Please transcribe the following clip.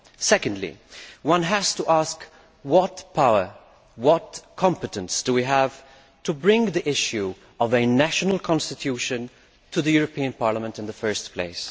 Secondly, one has to ask what power, what competence, do we have to bring the issue of a national constitution to the European Parliament in the first place?